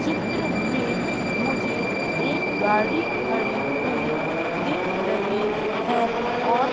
चित्र में मुझे एक गाड़ी खड़ी हुई दिख रही है और--